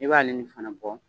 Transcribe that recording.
I b'ale ni fana bɔ